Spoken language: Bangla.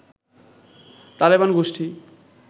তালেবান গোষ্ঠী